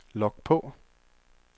log på